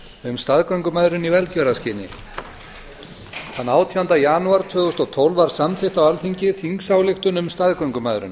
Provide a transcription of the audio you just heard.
um staðgöngumæðrun í velgjörðarskyni þann átjánda janúar tvö þúsund og tólf var samþykkt á alþingi þingsályktun um staðgöngumæðrun